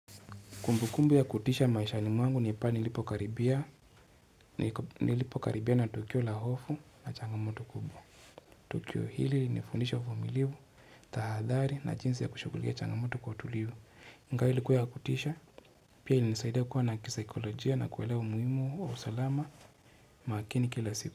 Kumbu kumbu ya kutisha maishani mwangu nilipokaribia na tukio la hofu na changamoto kubwa. Tukio hili nifundisha uvumiliwu, tahadhari na jinsi ya kushukulia changamoto kwa utulivu. Ingawa ilikuwa ya kutisha, pia ilinisaidia kuwa na kisaikolojia na kuwelewa muhimu wa usalama makini kila siku.